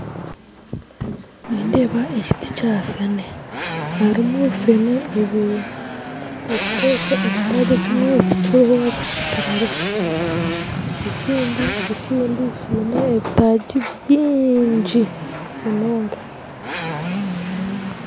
Nindeeba ekiti kyafene harimu fene ibiri ekiti ekyo ekitaagi ekimwe tikiriho bakitemireho ekindi kiine ebitaagi bingi munonga